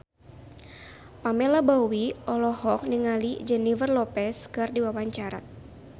Pamela Bowie olohok ningali Jennifer Lopez keur diwawancara